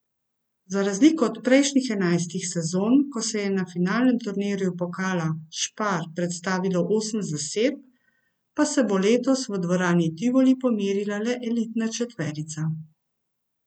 Za razliko od prejšnjih enajstih sezon, ko se je na finalnem turnirju pokala Spar predstavilo osem zasedb, pa se bo letos v dvorani Tivoli pomerila le elitna četverica.